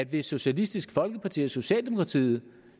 hvis socialistisk folkeparti og socialdemokratiet